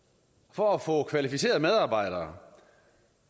for at få kvalificerede medarbejdere